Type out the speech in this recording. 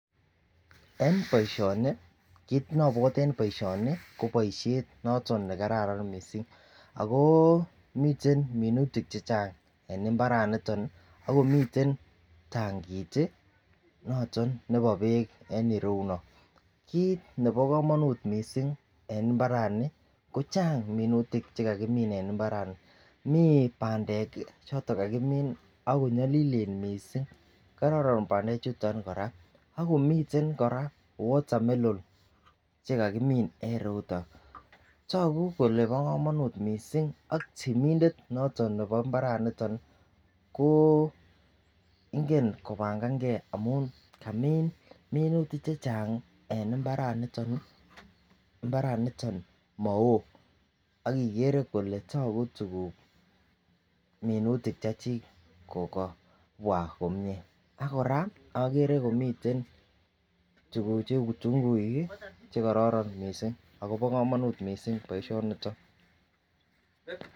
En boishoni kit nobwote en boishoni ko boishet noton nekararan missing ako miten minutik che Chang en imbaraniton nii ak komiten tankit tii noton nebo beek en iroyuno. Kit nebo komonut missing en imbarani ko chang minutik chekakimin en imbarani mii pandek choton chekakimin ko nyolilen missing kororon pandek chuton Koraa ak komiten Koraa water Mellon chekakimin en iroyuton. Toku kole bo komonut missing ak temindet noton nebo imbaraniton ko ingen kopangangee amun kamin minutik chechang en imbaraniton nii imbaraniton mowoo ak ikere kole toku tukuk minutik che chik ko kabwa komie ak Koraa okere komiten tukuk cheu tunguik kii chekororon missing ako bo komonut missing boishoniton.